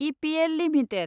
EPL limited